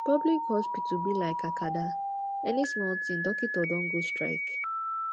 public hospital be lyk acada any smal tin dokitor don go strike